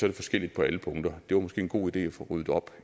det forskelligt på alle punkter det var måske en god idé at få ryddet op